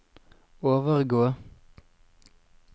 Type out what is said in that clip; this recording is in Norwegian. overgå